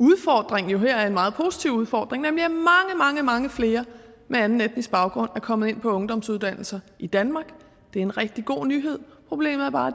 der jo her er en meget positiv udfordring nemlig at mange mange flere med anden etnisk baggrund er kommet ind på ungdomsuddannelserne i danmark det er en rigtig god nyhed problemet er bare